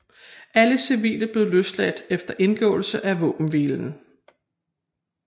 Alle civile blev løsladt efter indgåelsen af våbenhvilen